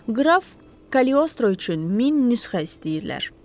Qraf Kaliostro üçün min nüsxə istəyirlər.